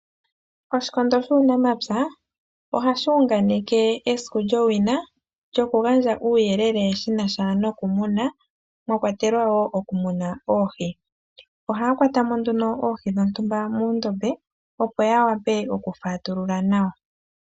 Oshikondo shuunamapya ohashi unganeke esiku lyowina, lyoku gandja uuyelele shinasha nokumuna mwa kwatelwa wo okumuna oohi. Ohaya kwata mo nduno oohi dhontumba muundombe opo ya wape oku fatulula nawa.